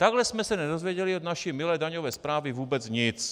Takhle jsme se nedozvěděli od naší milé daňové správy vůbec nic.